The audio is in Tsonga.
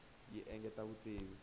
yi engetela vutivi